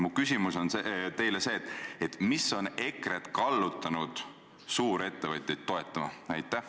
Mu küsimus teile on: mis on EKRE-t kallutanud suurettevõtjaid toetama?